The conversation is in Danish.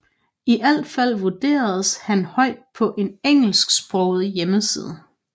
I alt fald vurderes han højt på en engelsksproget hjemmeside